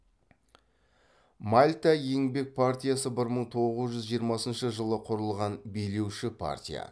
мальта еңбек партиясы бір мың тоғыз жүз жиырмасыншы жылы құрылған билеуші партия